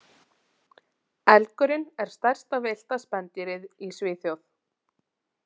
Elgurinn er stærsta villta spendýrið í Svíþjóð.